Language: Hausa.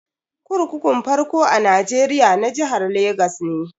Kurkukun farko a Nigeria na jihar Legas ne.